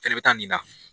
Fɛnɛ bɛ taa nin na